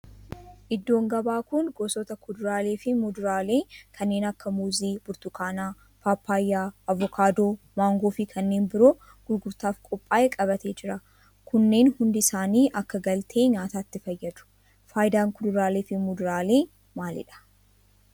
Iddoon gabaa kun gosoota kuduraalee fi muduraalee kanneen akka muuzii, burtukaana, paappayyaa, avokaadoo, maangoo fi kanneen biroo gurgurtaaf qophaa'e qabatee jira. Kunneen hundi isaanii akka galtee nyaatatti fayyadu. Faayidaan kuduraalee fi muduraalee maalidha?